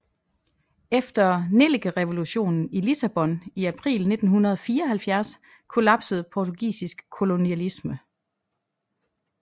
Efter nellikerevolutionen i Lissabon i april 1974 kollapsede portugisisk kolonialisme